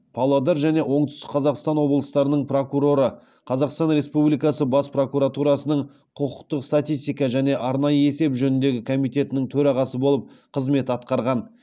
павлодар және оңтүстік қазақстан облыстарының прокуроры қазақстан республикасы бас прокуратурасының құқықтық статистика және арнайы есеп жөніндегі комитетінің төрағасы болып қызмет атқарған